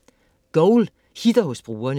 Goal hitter hos brugerne